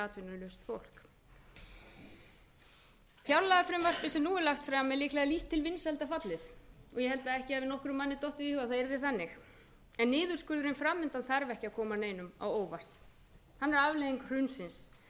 atvinnulaust fólk fjárlagafrumvarpið sem nú er lagt fram er líklega lítt til vinsælda fallið og ég held að ekki hafi nokkrum manni dottið í hug að það yrði þannig en niðurskurðurinn fram undan þarf ekki að koma neinum á óvart hann er afleiðing hrunsins